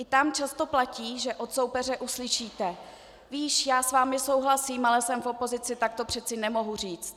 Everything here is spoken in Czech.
I tam často platí, že od soupeře uslyšíte: "Víš, já s vámi souhlasím, ale jsem v opozici, tak to přece nemohu říct."